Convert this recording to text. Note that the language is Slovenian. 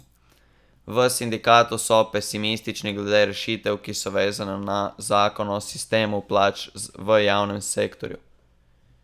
V sindikatu so pesimistični glede rešitev, ki so vezane na zakon o sistemu plač v javnem sektorju.